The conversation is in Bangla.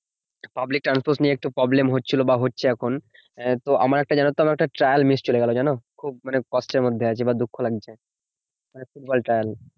Public transport নিয়ে একটু problem হচ্ছিলো বা হচ্ছে এখন। আহ তো আমার একটা জানোতো আমার একটা trial miss চলে গেলো জানো? খুব মানে কষ্টের মধ্যে আছি বা দুঃখ লাগছে। মানে ফুটবল trial.